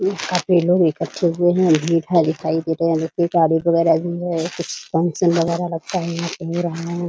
ये काफी लोग इक्कठे हुए हैं भीड़-भाड़ दिखाई दे रहे हैं ये कारीगर वगेरह भी हैं कुछ फंक्शन वगेरह लगता है यहाँ पे हो रहा है ।